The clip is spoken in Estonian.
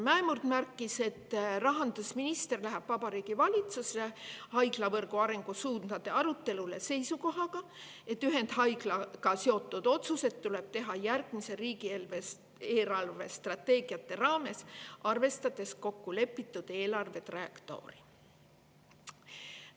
Mäemurd märkis, et rahandusminister läheb Vabariigi Valitsusse haiglavõrgu arengusuundade arutelule seisukohaga, et ühendhaiglaga seotud otsused tuleb teha järgmiste riigi eelarvestrateegiate raames, arvestades kokkulepitud eelarvetrajektoori.